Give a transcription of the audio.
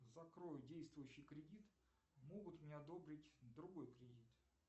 закрой действующий кредит могут мне одобрить другой кредит